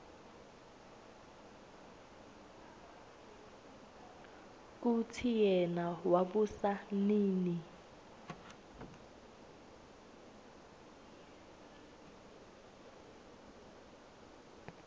kutsi yena wabusa nini